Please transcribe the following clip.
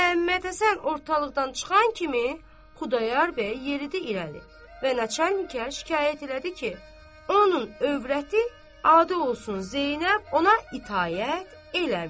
Məhəmmədhəsən ortalıqdan çıxan kimi, Xudayar bəy yeridi irəli və nəçə enliyə şikayət elədi ki, onun övrəti adı olsun Zeynəb, ona itaət edir.